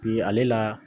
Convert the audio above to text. Bi ale la